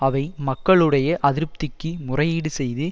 அவை மக்களுடைய அதிருப்திக்கு முறையீடு செய்து